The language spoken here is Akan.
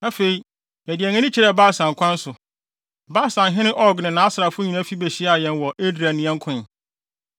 Afei, yɛde yɛn ani kyerɛɛ Basan kwan so. Basanhene Og ne nʼasrafo nyinaa fi behyiaa yɛn wɔ Edrei ne yɛn koe.